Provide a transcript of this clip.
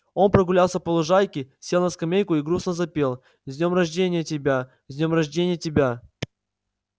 он прогулялся по лужайке сел на скамейку и грустно запел с днём рожденья тебя с днём рожденья тебя